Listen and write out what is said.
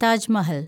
Taj Mahal